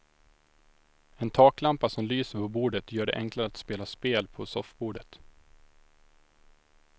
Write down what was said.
En taklampa som lyser på bordet gör det enklare att spela spel på soffbordet.